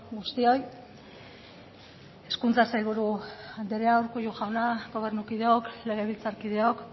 guztioi hezkuntza sailburu andrea urkullu jauna gobernukideok legebiltzarkideok